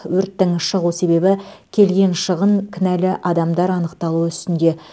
өрттің шығу себебі келген шығын кінәлі адамдар анықталу үстінде